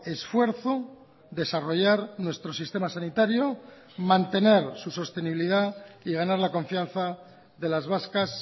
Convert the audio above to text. esfuerzo desarrollar nuestro sistema sanitario mantener su sostenibilidad y ganar la confianza de las vascas